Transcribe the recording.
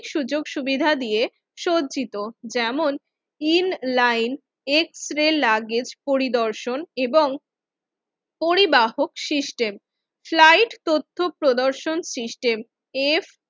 সুযোগ-সুবিধা দিয়ে সজ্জিত যেমন ইন লাইন এক্সরে লাগেজ পরিদর্শন এবং পরিবাহক সিস্টেম স্লাইড তথ্যপ্রদর্শন সিস্টেম এফ